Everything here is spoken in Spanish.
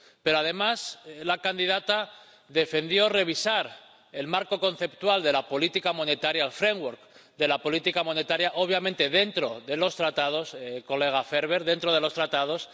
Pero además, la candidata defendió revisar el marco conceptual de la política monetaria —el framework de la política monetaria—, obviamente dentro de los Tratados, señor Ferber, dentro de los Tratados.